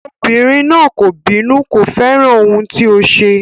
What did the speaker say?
Obìnrin náà kò bínú, kò fẹ́ràn ohun tí o ṣe.